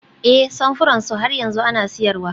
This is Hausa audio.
Ee, samfuran su har yanzu ana siyarwa